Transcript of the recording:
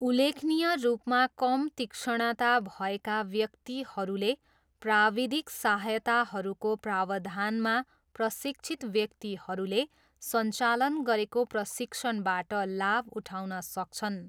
उल्लेखनीय रूपमा कम तीक्ष्णता भएका व्यक्तिहरूले प्राविधिक सहायताहरूको प्रावधानमा प्रशिक्षित व्यक्तिहरूले सञ्चालन गरेको प्रशिक्षणबाट लाभ उठाउन सक्छन्।